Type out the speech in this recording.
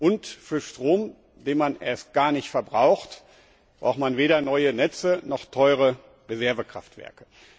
Und für Strom, den man erst gar nicht verbraucht, braucht man weder neue Netze noch teure Reservekraftwerke.